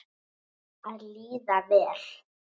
Að líða vel.